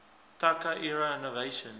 taika era innovation